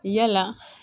Yala